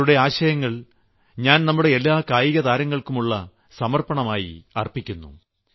താങ്കളുടെ ആശയങ്ങൾ ഞാൻ നമ്മുടെ എല്ലാ കായികതാരങ്ങൾക്കുമായുള്ള സമർപ്പണമായി അർപ്പിക്കുന്നു